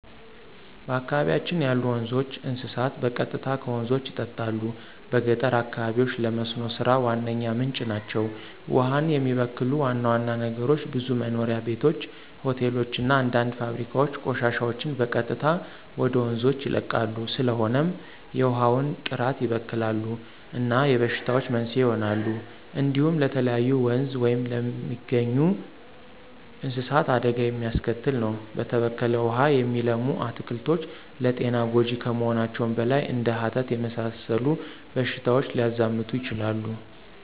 በአካባቢያችን ያሉ ወንዞች፣ እንስሳት በቀጥታ ከወንዞች ይጠጣሉ። በገጠር አካባቢዎች ለመስኖ ሥራ ዋነኛ ምንጭ ናቸው። ውሃውን የሚበክሉ ዋና ዋና ነገሮች ብዙ መኖሪያ ቤቶች፣ ሆቴሎች እና አንዳንድ ፋብሪካዎች ቆሻሻቸውን በቀጥታ ወደ ወንዞች ይለቃሉ። ስለሆነም የውሃውን ጥራት ይበክላሉ እና የበሽታዎች መንስኤ ይሆናሉ። እንዲሁም ለተለያዩ ወንዝ ውስጥ ለሚገኙ እንስሳት አደጋ የሚያስከትል ነው። በተበከለ ውሃ የሚለሙ አትክልቶች ለጤና ጎጅ ከመሆናቸውም በላይ እንደ ሀተት የመሰሉ በሽታዎች ሊያዛምቱ ይችላሉ።